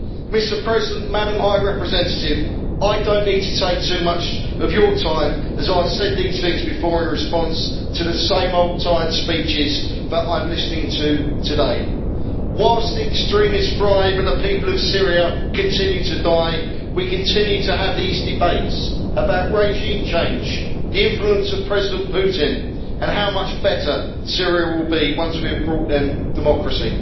Madam High Representative, I do not need to take up too much of your time, as I have said these things before in response to the same tired old speeches that I am listening to today. Whilst the extremists thrive and the people of Syria continue to die, we continue to have these debates about regime change, the influence of President Putin and how much better Syria will be once we have brought in democracy.